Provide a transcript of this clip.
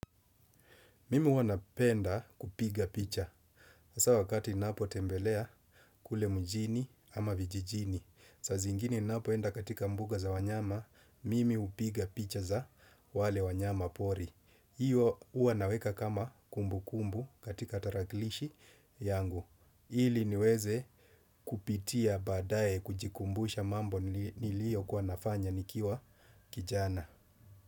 Mimi huwa napenda kupiga picha. Hasa wakati ninapo tembelea kule mujini ama vijijini. Saa zingine ninapoenda katika mbuga za wanyama, mimi hupiga picha za wale wanyama pori. Hiyo huwa naweka kama kumbukumbu katika tarakilishi yangu. Ili niweze kupitia baadaye kujikumbusha mambo niliyo kuwa nafanya nikiwa kijana.